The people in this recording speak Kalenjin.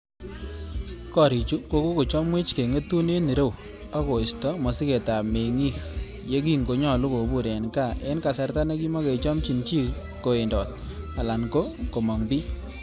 "Gorichu ko kokochomwech keng'etun en ireu, ak koisto mosigetab meng'ik yekin konyolu kobur en gaa en kasarta nekimokechomchin chii kowendot alan ko kom'ong bii."